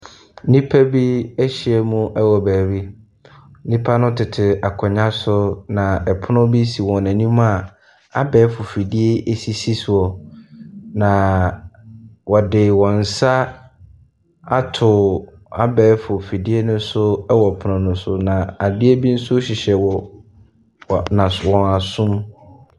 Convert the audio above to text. Nnipa bi ahyiam wɔ baabi. Nnipa no tete akonnwa so na ɛpono bi si wɔn anim a abɛɛfo fidie sisi soɔ na wɔde wn nsa ato abɛɛfo fiedie no so na adeɛ bi nso hyehyɛ wɔ wɔ wɔn aso mu.